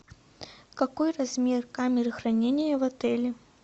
какой размер камеры хранения в отеле